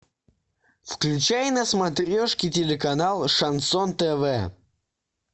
включай на смотрешке телеканал шансон тв